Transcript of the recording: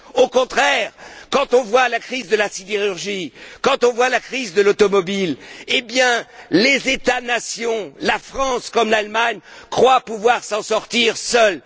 Au contraire, quand on voit la crise de la sidérurgie, quand on voit la crise de l'automobile, les États nations, la France comme l'Allemagne, croient pouvoir s'en sortir seuls.